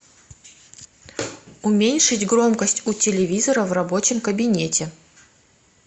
уменьшить громкость у телевизора в рабочем кабинете